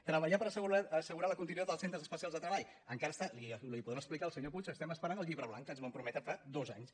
treballar per assegurar la continuïtat dels centres especials de treball encara li ho podrà explicar el senyor puig esperem el llibre blanc que ens van prometre fa dos anys